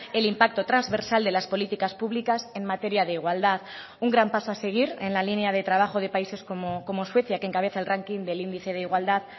el impacto transversal de las políticas públicas en materia de igualdad un gran paso a seguir en la línea de trabajo de países como suecia que encabeza el ranking del índice de igualdad